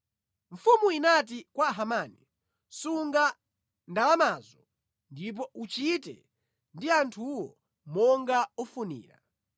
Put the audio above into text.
Mfumu inati kwa Hamani, “Sunga ndalamazo, ndipo uchite ndi anthuwo monga ufunira.”